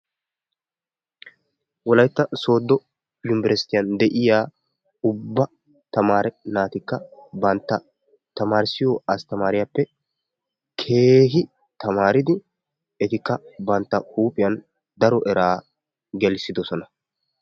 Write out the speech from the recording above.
Wolaytta soodo yunberestiyan deiya ubba tamaree naatikka bantta tamarissiyo asttamariyappe keehi tamaaridi etikka bantta huuphiyan daro eraa gelissidosona.